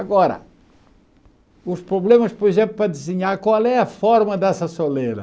Agora, os problemas, por exemplo, para desenhar qual é a forma dessa soleira.